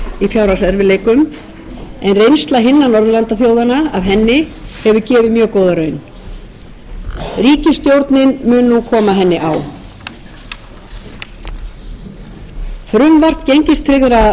fjárhagserfiðleikum en reynsla hinna norðurlandaþjóðanna af henni hefur gefið mjög góða raun ríkisstjórnin mun nú koma henni á frumvarp um greiðslujöfnun gengistryggðra lána er einnig væntanlegt